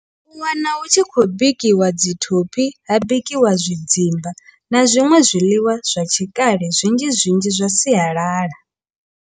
U wana hu tshi khou bikiwa dzi thophi ha bikiwa zwidzimba na zwiṅwe zwiḽiwa zwa tshikale zwinzhi zwinzhi zwa sialala.